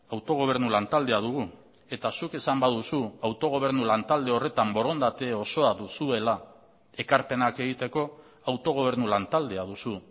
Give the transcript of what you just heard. autogobernu lantaldea dugu eta zuk esan baduzu autogobernu lantalde horretan borondate osoa duzuela ekarpenak egiteko autogobernu lantaldea duzu